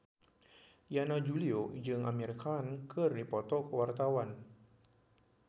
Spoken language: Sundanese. Yana Julio jeung Amir Khan keur dipoto ku wartawan